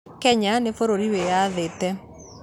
Kenya nĩ bũrũri wĩyathĩte